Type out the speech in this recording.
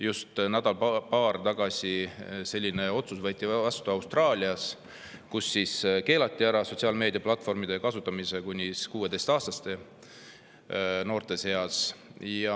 Just nädal-paar tagasi võeti selline otsus vastu Austraalias, kus keelati ära sotsiaalmeedia platvormide kasutamine kuni 16-aastastel noortel.